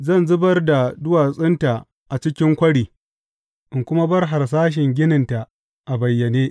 Zan zubar da duwatsunta a cikin kwari in kuma bar harsashin gininta a bayyane.